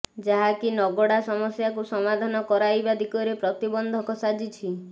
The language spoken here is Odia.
ଯାହାକି ନଗଡ଼ା ସମସ୍ୟାକୁ ସମାଧାନ କରାଇବା ଦିଗରେ ପ୍ରତିବନ୍ଧକ ସାଜିଛି